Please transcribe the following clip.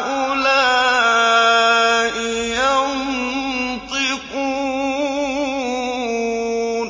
هَٰؤُلَاءِ يَنطِقُونَ